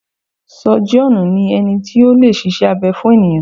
Sọ́jíọ̀nù ni ẹni tí o lè ṣiṣẹ́ abẹ fún ènìyàn.